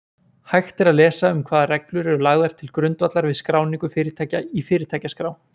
Hægt er lesa um hvaða reglur eru lagðar til grundvallar við skráningu fyrirtækja í Fyrirtækjaskrá.